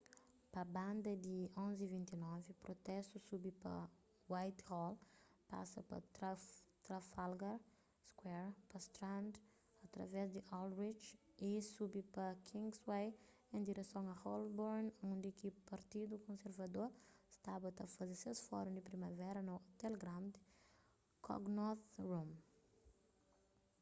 pa banda di 11:29 protestu subi pa whitehall pasa pa trafalgar square pa strand através di aldwych y subi pa kingsway en direson a holborn undi ki partidu konservador staba ta faze ses fórun di primavera na ôtel grand connaught rooms